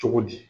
Cogo di